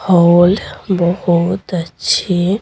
whole बहुत अच्छी--